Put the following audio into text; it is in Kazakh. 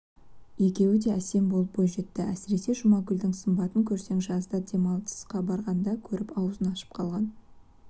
екеуі де әсем болып бойжетті әсіресе жұмагүлдің сымбатын көрсең жазда демалысқа барғанда көріп аузын ашып қалған